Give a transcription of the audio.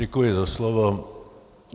Děkuji za slovo.